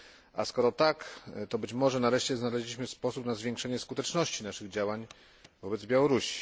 A skoro tak, to być może nareszcie znaleźliśmy sposób na zwiększenie skuteczności naszych działań wobec Białorusi.